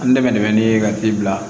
An dɛmɛ de bɛ ne ye ka di bila